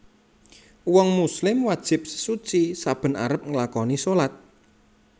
Uwong muslim wajib sesuci saben arep nglakani salat